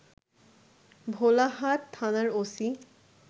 ভোলাহাট থানার ওসি